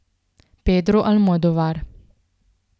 Pedro Almodovar.